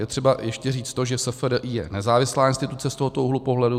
Je třeba ještě říct to, že SFDI je nezávislá instituce z tohoto úhlu pohledu.